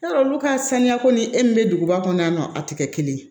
Yarɔ olu ka saniya ko ni e min be duguba kɔnɔ yan nɔ a tɛ kɛ kelen ye